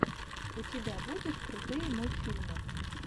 у тебя будет крутые мультфильмы